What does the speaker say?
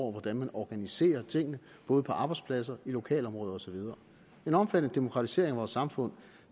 hvordan man organiserer tingene både på arbejdspladser og i lokalområder og så videre en omfattende demokratisering af vores samfund